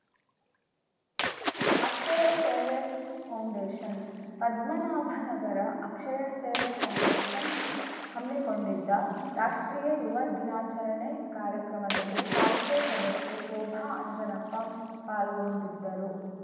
ಅಕ್ಷಯ Seva foundation Padmanabhanagar Akshaya Seva foundation ಹಮ್ಮಿಕೊಂಡಿದ್ದ ರಾಷ್ಟ್ರೀಯ ಯುವ ದಿನಾಚರಣೆ ಕಾರ್ಯಕ್ರಮದಲ್ಲಿ ಪಾಲಿಕೆ ಸದಸ್ಯೆ ಶೋಭಾ ಆಂಜನಪ್ಪ ಪಾಲ್ಗೊಂಡಿದ್ದರು